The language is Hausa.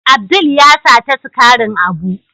Abdul ya sata sigarin Abu.